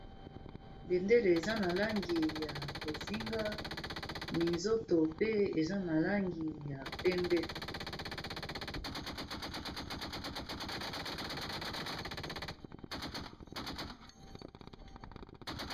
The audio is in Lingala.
Bendele eza na langi ya bozinga minzoto pe eza na langi ya pembe.